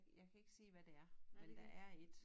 Jeg kan ikke se hvad det er men der er et